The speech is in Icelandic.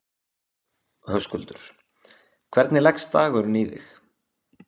Höskuldur: Hvernig leggst dagurinn í þig?